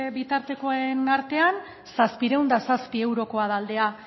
bitartekoen artean zazpiehun eta zazpi eurokoa da aldea